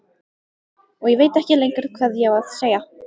Og ég veit ekkert lengur hvað ég á að segja.